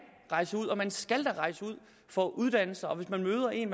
rejse ud og man skal rejse ud for at uddanne sig og hvis man møder en